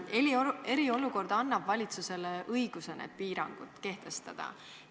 Eriolukord annab valitsusele õiguse neid piiranguid kehtestada.